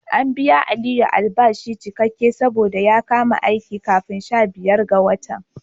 An bawa Aliyu albashi cikakke saboda ya kama aiki kafin sha biyar ga watan.